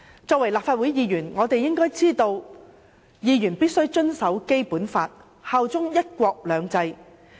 作為立法會議員，我們應該知道議員必須遵守《基本法》，效忠"一國兩制"。